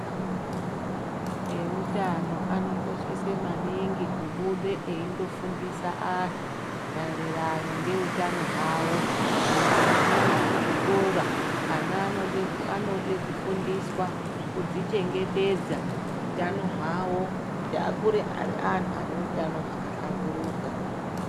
Eutano anokoshese maningi kubude eindo fundise antu maererano ngeutano hwavo. Kunyanya-nyanya muzvikora ana anode kufundiswa kudzichengetedza utano hwavo, kuti akure ari antu ane utano hwakahlamburuka.